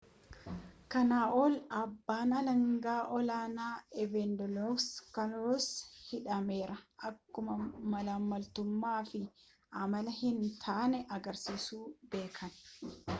kana ol abbaan alanga olaanaan evangelos kaluwosis hidhameera akkuma maalammaltumaa fi amala hin taane agarsiisu beeken